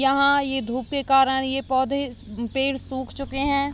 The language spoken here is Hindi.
यहाँ ये धुप के कारण ये पौधे अ पेड़ सूख चुकें हैं।